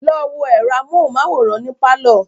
Lọ wo ẹ̀rọ amóhunmáwòrán ní pálọ̀